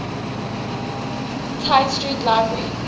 tite street library